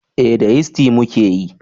Eh da yisti muka yi